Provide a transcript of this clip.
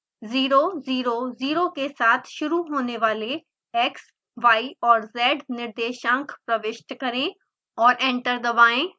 0 0 0 के साथ शुरू होने वाले x y और z निर्देशांक प्रविष्ट करें और एंटर दबाएँ